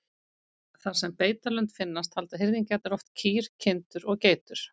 Þar sem beitarlönd finnast halda hirðingjarnir oft kýr, kindur og geitur.